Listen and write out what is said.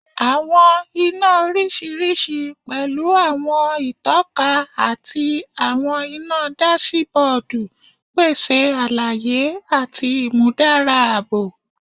Awọn ina oriṣiriṣi, pẹlu awọn itọka ati awọn ina dasibodu, pese alaye ati imudara aabo